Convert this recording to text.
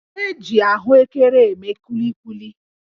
E ji ahụekere eme kulikuli